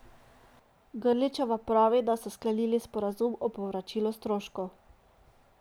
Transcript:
Grličeva pravi, da so sklenili sporazum o povračilu stroškov.